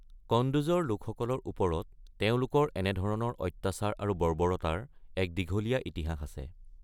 কণ্ডোজৰ লোকসকলৰ ওপৰত তেওঁলোকৰ এনে ধৰণৰ অত্যাচাৰ আৰু বৰ্বৰতাৰ এক দীঘলীয়া ইতিহাস আছে।